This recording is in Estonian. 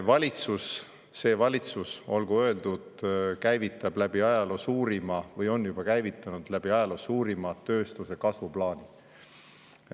Valitsus, see valitsus, olgu öeldud, käivitab või on juba käivitanud läbi ajaloo suurima tööstuse kasvu plaani.